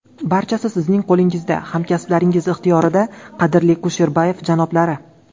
Barchasi sizning qo‘lingizda, hamkasblaringiz ixtiyorida, qadrli Kusherbayev janoblari.